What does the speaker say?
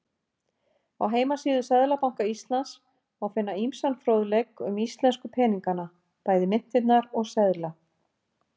Á heimasíðu Seðlabanka Íslands má finna ýmsan fróðleik um íslensku peningana, bæði myntirnar og seðla.